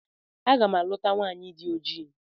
A ga m a luta nwaanyị dị oji.